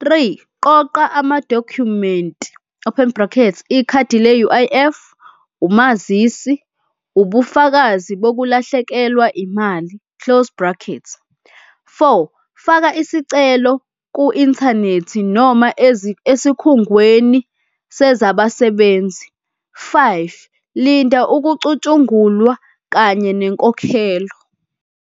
Three, qoqa amadokhumenti, open bracket, ikhadi le-U_I_F. Umazisi, ubufakazi bokulahlekelwa imali, close bracket. Four, faka isicelo ku-inthanethi noma esikhungweni sezabasebenzi. Five, linda ukucutshungulwa kanye nenkokhelo.